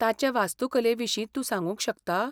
ताचे वास्तुकले विशीं तूं सांगूंक शकता?